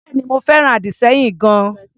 Bẹ́èni, mo fẹ́ràn àdì-sẹ́yìn gan-an.